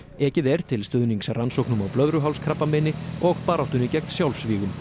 ekið er til stuðnings rannsóknum á blöðruhálskrabbameini og baráttunni gegn sjálfsvígum